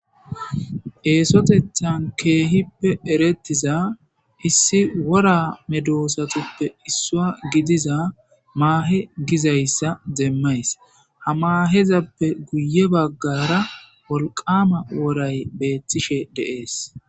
Esotethan kehippe erettiza issi wora medoosatoppe issua gidiza maahe gizayssa demmays hamaahezappe guye baggara wolqama woray beettishe dees